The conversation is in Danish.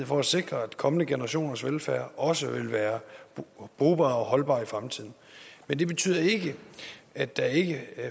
for at sikre at kommende generationers velfærd også vil være brugbar og holdbar i fremtiden men det betyder ikke at der ikke